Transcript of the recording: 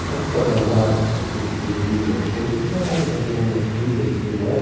Então, só gravado para aqueles que ouviram a coisa, mas gravado também aí nas fitas e tudo mais.